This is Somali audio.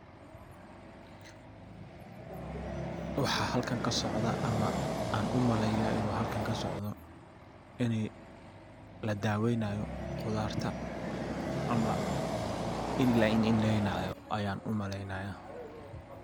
waxaa halkan kasocda ama aan u maleya inu halkan kasocda ini ladawaynayo qudarta ama ini la indha indhaynaayo ayan u malaynaya.